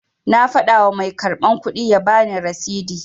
Na fada wa mai karban kudi ya bani rasidi